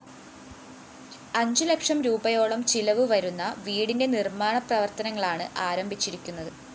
അഞ്ചുലക്ഷം രൂപയോളം ചിലവുവരുന്ന വീടിന്റെ നിര്‍മ്മാണ പ്രവര്‍ത്തനങ്ങളാണ് ആരംഭിച്ചിരിക്കുന്നത്